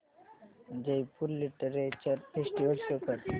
Jaipur literature festival show कर